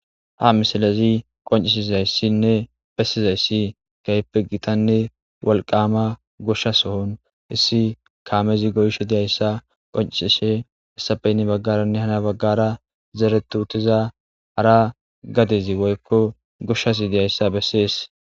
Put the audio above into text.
Ha misalazi qoncisizayssinne bessizayssi gaype gitanne walqama gusha sohon issi kaamezi goysho diyayssa qoncisishe hissapeynne baggaranne hana baggara zeretu utiza hara gadezi woykko gushas diyayssa bessees.